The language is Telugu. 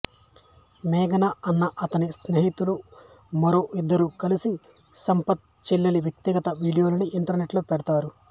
మేఘన అన్న అతని స్నేహితులు మరో ఇద్దరు కలిసి సంపత్ చెల్లెలి వ్యక్తిగత వీడియోలని ఇంటర్నెట్ లో పెడతారు